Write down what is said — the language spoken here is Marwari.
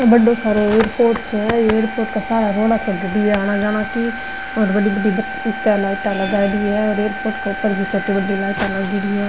ओ बड़ो सारो एयरपोर्ट है एयरपोर्ट का सारा रोड़ा चल रही है आना जाना की और बड़ी बड़ी सी लाइटा लगाईडी है और एयरपोर्ट के ऊपर भी छोटी बड़ी लाइटा लागेडी है।